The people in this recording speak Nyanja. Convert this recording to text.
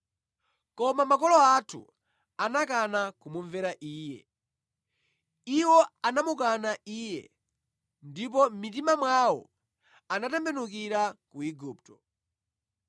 “Koma makolo athu anakana kumumvera iye. Iwo anamukana iye ndipo mʼmitima mwawo anatembenukira ku Igupto.